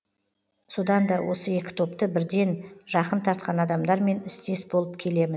содан да осы екі топты бірден жақын тартқан адамдармен істес болып келемін